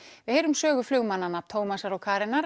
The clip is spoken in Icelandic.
við heyrum sögu flugmannanna Tómasar og Karenar